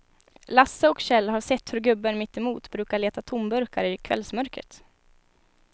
Lasse och Kjell har sett hur gubben mittemot brukar leta tomburkar i kvällsmörkret.